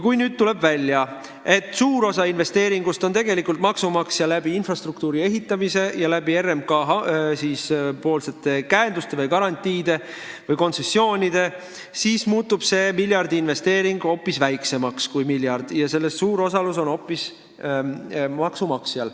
Kui nüüd tuleb välja, et suure osa investeeringust teeb tegelikult maksumaksja infrastruktuuri ehitamise ja RMK käenduste või garantiide või kontsessioonide kaudu, siis muutub see miljardiinvesteering hoopis väiksemaks kui miljard ja suur osalus selles on hoopis maksumaksjal.